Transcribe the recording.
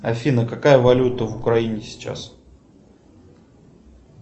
афина какая валюта в украине сейчас